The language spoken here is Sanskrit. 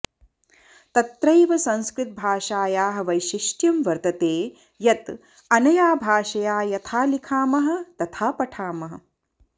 तत्रैव संस्कृतभाषायाः वैशिष्ट्यं वर्तते यत् अनया भाषया यथा लिखामः तथा पठामः